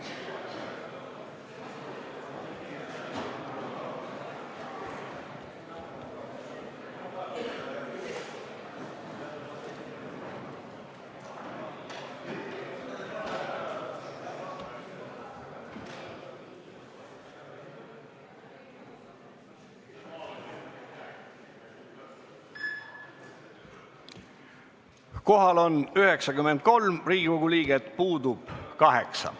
Kohaloleku kontroll Kohal on 93 Riigikogu liiget, puudub 8.